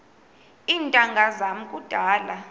iintanga zam kudala